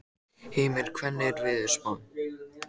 Hymir, hvernig er veðurspáin?